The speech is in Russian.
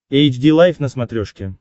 эйч ди лайф на смотрешке